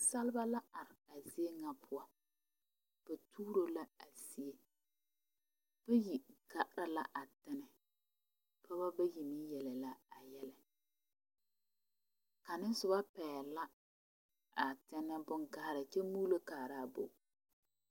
Nensaaleba la are a zie ŋa poɔ ba tuuro la a zie bayi gaara la a tane pɔgeba bayi meŋ yele la a yɛlɛ kaŋa soba pɛgle la a tane boŋgayiri kyɛ mɔɔlo kaara a bogi.